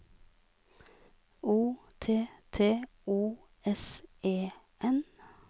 O T T O S E N